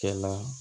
Kɛ la